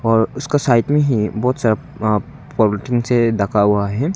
और उसका साइड में ही बहुत सारा अह पॉलीथिन से ढका हुआ है।